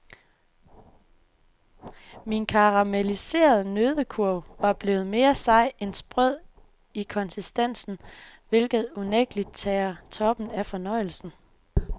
Min karameliserede nøddekurv var blevet mere sej end sprød i konsistensen, hvilket unægteligt tager toppen af fornøjelsen.